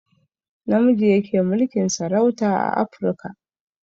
Namiji yake mulkin sarauta a afruka